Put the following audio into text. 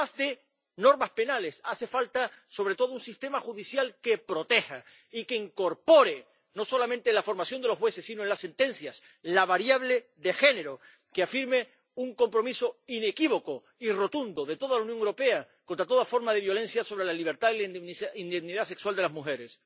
Pero, además de normas penales, hace falta sobre todo un sistema judicial que proteja y que incorpore, no solamente en la formación de los jueces sino en las sentencias, la variable de género, que afirme un compromiso inequívoco y rotundo de toda la Unión Europea contra toda forma de violencia sobre la libertad y la indemnidad sexual de las mujeres.